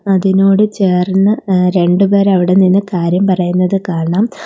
അതിനോട് ചേർന്ന് എ രണ്ടുപേരവിടെ നിന്ന് കാര്യം പറയുന്നത് കാണാം.